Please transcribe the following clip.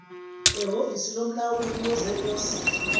ehovisi lomlawuli wezeposi